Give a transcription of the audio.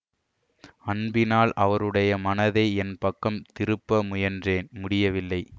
அன்பினால் அவருடையை மனதை என் பக்கம் திருப்ப முயன்றேன் முடியவில்லை